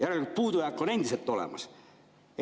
Järelikult puudujääk on endiselt olemas.